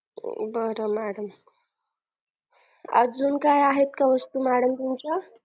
बरं madam अजून काय आहेत का वस्तू madam तुमच्या